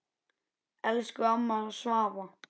Elsku amma Svava.